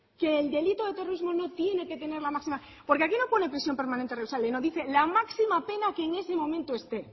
que el delito de terrorismo no tiene que tener la máxima porque aquí no pone prisión permanente revisable no dice la máxima pena que en ese momento esté